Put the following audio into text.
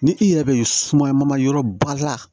Ni i yɛrɛ be sumaya mama yɔrɔ ba la